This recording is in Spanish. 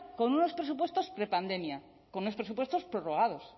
con unos presupuestos prepandemia con unos presupuestos prorrogados